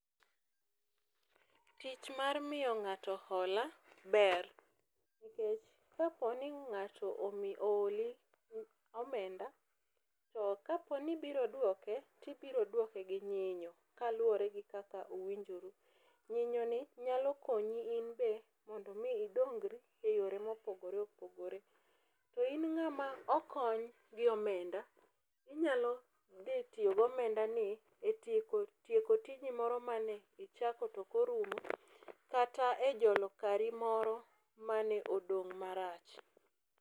Tich mar miyo ng'ato hola ber nikech kapo ni ng'ato omi oholi omenda to kaponi ibiro dwoke tibiro dwoke gi nyinyo kaluwore gi kaka uwinjoru. Nyinyo ni nyalo konyi mondo inbe idongri eyore mopogore opogore .To in ng'ama okony go menda inyalo dhi tiyo gomenda ni e tieko e tieko tiji moro manichako tokorumo kata e jolo kari moro mane odong' marach.